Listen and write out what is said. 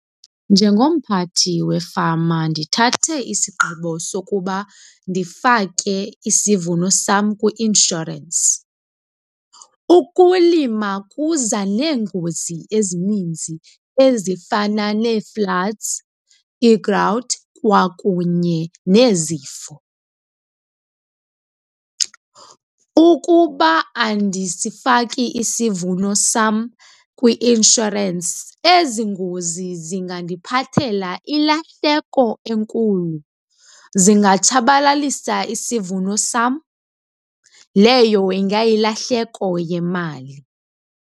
Njengomphathi wefama ndithathe isigqibo sokuba ndifake isivuno sam kwi-inshorensi. Ukulima kuza neengozi ezininzi ezifana nee-floods, ii-drought kwakunye nezifo. Ukuba andisifaki isivuno sam kwi-inshorensi, ezi ngozi zingandiphathela ilahleko enkulu, zingatshabalalisa isivuno sam, leyo ingayilahleko yemali.